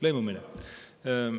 Lõimumine?